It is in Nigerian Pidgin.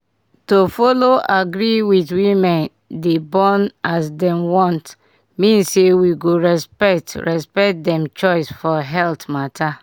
to follow agree with women dey born as dem want mean say we go respect respect dem choice for health matter